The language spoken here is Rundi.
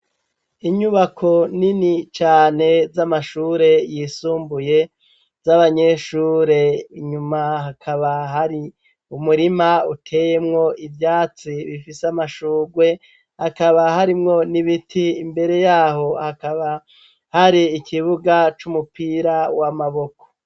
Inyubako nini cane z'amashure yisumbuye, z'abanyeshure inyuma hakaba hari umurima utemwo ivyatsi, bifise amashurwe hakaba harimwo n'ibiti imbere yaho hakaba hari ikibuga c'umupira wa mabuwe.